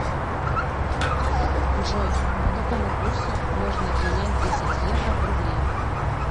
джой по какому курсу можно обменять десять евро в рубли